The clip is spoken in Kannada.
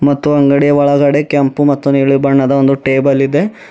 ಮತ್ತು ಅಂಗಡಿಯ ಒಳಗಡೆ ಕೆಂಪು ಮತ್ತು ನೀಲಿ ಬಣ್ಣದ ಒಂದು ಟೇಬಲ್ ಇದೆ.